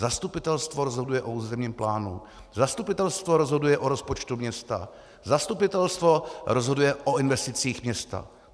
Zastupitelstvo rozhoduje o územním plánu, zastupitelstvo rozhoduje o rozpočtu města, zastupitelstvo rozhoduje o investicích města.